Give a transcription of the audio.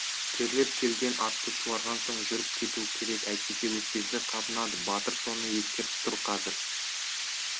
терлеп келген атты суарған соң жүріп кету керек әйтпесе өкпесі қабынады батыр соны ескертіп тұр қазір